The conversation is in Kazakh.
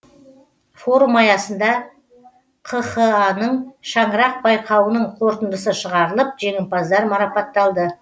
форум аясында қха ның шаңырақ байқауының қорытындысы шығарылып жеңімпаздар марапатталды